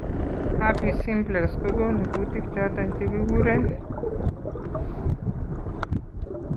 Herpes simplex kogonu kutik choton chekekuren